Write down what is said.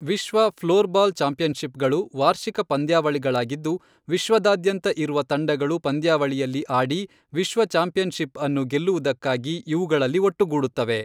ವಿಶ್ವ ಫ್ಲೋರ್ಬಾಲ್ ಚಾಂಪಿಯನ್ಷಿಪ್ಗಳು ವಾರ್ಷಿಕ ಪಂದ್ಯಾವಳಿಗಳಾಗಿದ್ದು, ವಿಶ್ವದಾದ್ಯಂತ ಇರುವ ತಂಡಗಳು ಪಂದ್ಯಾವಳಿಯಲ್ಲಿ ಆಡಿ ವಿಶ್ವ ಚಾಂಪಿಯನ್ಷಿಪ್ಅನ್ನು ಗೆಲ್ಲುವುದಕ್ಕಾಗಿ ಇವುಗಳಲ್ಲಿ ಒಟ್ಟುಗೂಡುತ್ತವೆ.